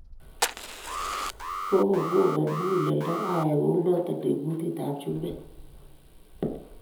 Kagogonon muguleldo ayai kunoto, eng kutitab chumbek